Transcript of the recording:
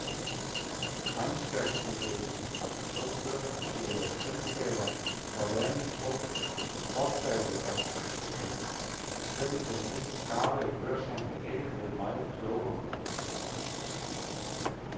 Regnskabsmeddelelsen fra de to børsnoterede selskaber var vanen tro så kortfattede og kryptiske, at selv den mest garvede børshandler ikke blev meget klogere.